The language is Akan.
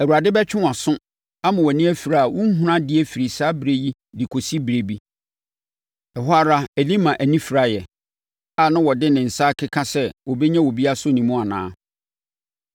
Awurade bɛtwe wʼaso ama wʼani afira a worenhunu adeɛ firi saa ɛberɛ yi de kɔsi berɛ bi.” Ɛhɔ ara Elima ani firaeɛ a na ɔde ne nsa rekeka sɛ ɔbɛnya obi asɔ ne mu anaa.